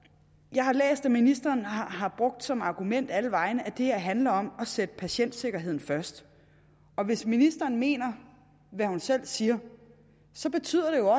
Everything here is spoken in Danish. jeg har læst at ministeren har brugt som argument alle vegne at det her handler om at sætte patientsikkerheden først og hvis ministeren mener hvad hun selv siger så betyder det